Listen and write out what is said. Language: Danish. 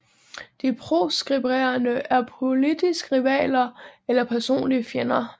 De proskriberede er politiske rivaler eller personlige fjender